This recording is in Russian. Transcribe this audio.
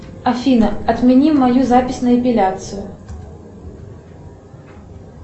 афина отмени мою запись на эпиляцию